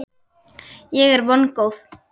Ég er vongóð.